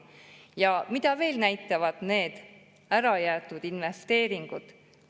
Ja mida veel näitavad need ärajäetud investeeringud?